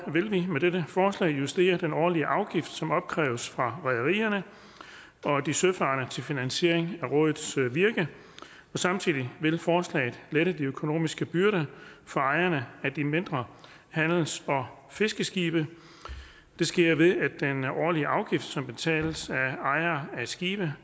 vil vi med dette forslag justere den årlige afgift som opkræves fra rederierne og de søfarende til finansiering af rådets virke samtidig vil forslaget lette de økonomiske byrder for ejerne af de mindre handels og fiskeskibe det sker ved at den årlige afgift som betales af ejere af skibe